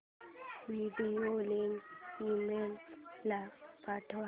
video link email ला पाठव